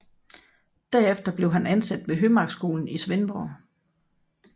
Derefter blev han ansat ved Hømarkskolen i Svendborg